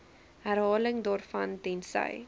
herhaling daarvan tensy